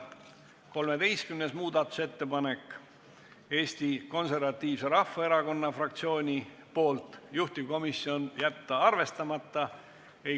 13. muudatusettepanek on Eesti Konservatiivse Rahvaerakonna fraktsioonilt, juhtivkomisjoni ettepanek on jätta see arvestamata.